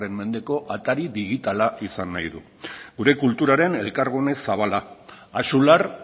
mendeko atari digitala izan nahi du gure kulturaren elkargune zabala axular